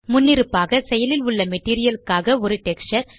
முன்னிருப்பாக செயலில் உள்ள மெட்டீரியல் க்காக ஒரு டெக்ஸ்சர்